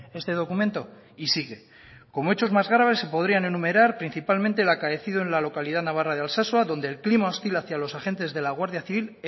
este documento y sigue como hechos más graves se podrían enumerar principalmente el acaecido en la localidad navarra de altsasua donde el clima hostil hacia los agentes de la guardia civil